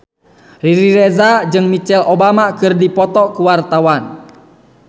Riri Reza jeung Michelle Obama keur dipoto ku wartawan